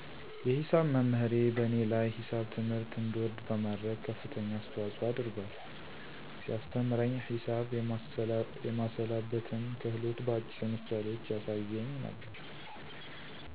የሂሳብ መምህሬ በእኔ ላይ ሂሳብ ትምህርት እንድወድ በማድረግ ከፍተኛ አሰተዋጽኦ አድርጓል። ሲያሰተምረኝ ሂሳብ የማሰላበትን ክህሎት በአጭር ምሳሌዎች ያሳየኝ ነበረ።